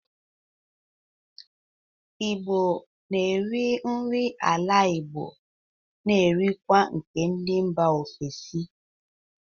Igbo n'eri nri ala Igbo n'erikwa nke ndị mba ofesi